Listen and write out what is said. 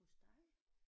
Hos dig?